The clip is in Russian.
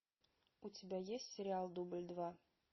у тебя есть сериал дубль два